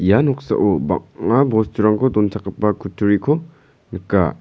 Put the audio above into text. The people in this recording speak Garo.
ia noksao bang·a bosturangko donchakgipa kutturiko nika.